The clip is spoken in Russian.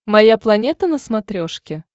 моя планета на смотрешке